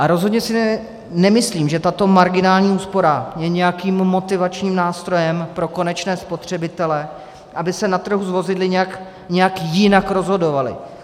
A rozhodně si nemyslím, že tato marginální úspora je nějakým motivačním nástrojem pro konečné spotřebitele, aby se na trhu s vozidly nějak jinak rozhodovali.